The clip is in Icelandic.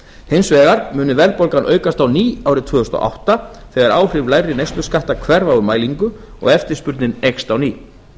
hins vegar muni verðbólga aukast á ný árið tvö þúsund og átta þegar áhrif lægri neysluskatta hverfa úr mælingu og eftirspurnin eykst á ný